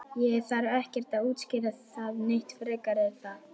Ég þarf ekkert að útskýra það neitt frekar er það?